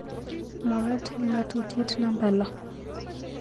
mwaat eng ngatutitiet namba lo